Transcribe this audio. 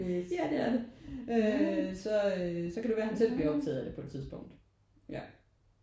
Ja det er det. Øh så øh så kan det være han selv bliver optaget af det på et tidspunkt ja